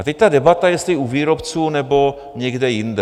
A teď ta debata, jestli u výrobců, nebo někde jinde.